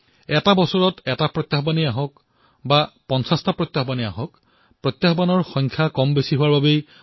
এটা বৰ্ষত এটাই প্ৰত্যাহ্বান হওক অথবা পঞ্চাছটা সেই বৰ্ষটো বেয়া হব নোৱাৰে